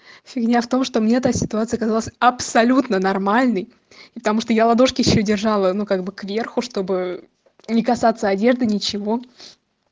фигня в том что мне эта ситуация казалась абсолютно нормальной потому что я ладошки ещё держала ну как бы к верху чтобы не касаться одежды ничего